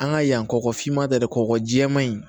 An ka yan kɔkɔfinma tɛ dɛ kɔkɔjima in